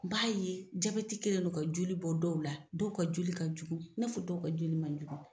b'a ye jabɛti kelen no ka joli bɔ dɔw la dɔw ka joli ka jugun i n'a fɔ dɔw ka joli man jugu.